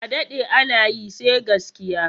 A daɗe ana yi, sai gaskiya.